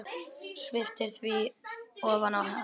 Sviptir því ofan af henni.